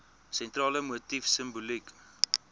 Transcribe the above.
sentrale motief simboliek